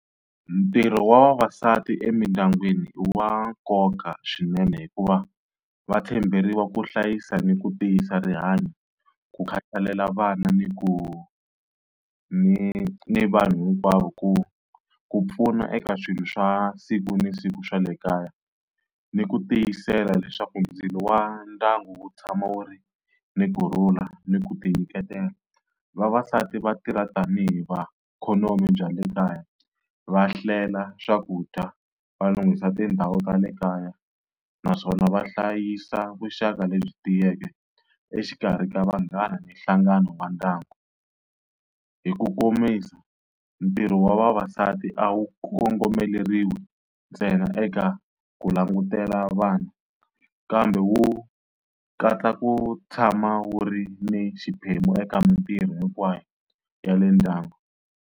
Ntirho wa vavasati emindyangwini i wa nkoka swinene hikuva va tshemberiwa ku hlayisa ni ku tiyisa rihanyo, ku khatalela vana ni ku ni ni vanhu hinkwavo ku ku pfuna eka swilo swa siku ni siku swa le kaya, ni ku tiyisela leswaku ndzilo wa ndyangu wu tshama wu ri ni kurhula ni ku tinyiketela. Vavasati va tirha tanihi va ikhonomi bya le kaya, va hlela swakudya va lunghisa tindhawu ta le kaya naswona va hlayisa vuxaka lebyi tiyeke exikarhi ka vanghana ni nhlangano wa ndyangu. Hi ku komisa ntirho wa vavasati a wu kongomeleriwi ntsena eka ku langutela vanhu kambe wu katsa ku tshama wu ri ni xiphemu eka mintirho hinkwayo ya le ndyangu.